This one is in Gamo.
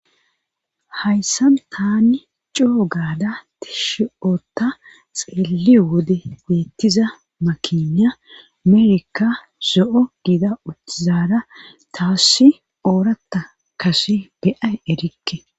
Hayssan tani coo gaada tishi7ota xeeliyo wode geettiza makiniya amerika so7o giida uttizara taassi ooratta kase beyay erikke.